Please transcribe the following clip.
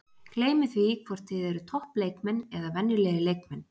Gleymið því hvort þið eruð topp leikmenn eða venjulegir leikmenn.